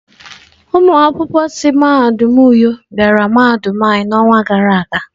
Ụmụ akwụkwọ si mahadum uyo bịara mahadum anyi n'ọnwa gara aga.